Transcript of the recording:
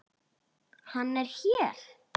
Hann er hér.